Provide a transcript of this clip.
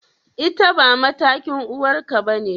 Ita ba matakin uwarka bane?